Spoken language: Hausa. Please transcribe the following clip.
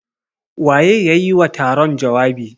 Waye ya yi wa taron jawabi?